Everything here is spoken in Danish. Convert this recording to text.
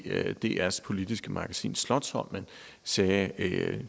drs politiske magasin slotsholmen sagde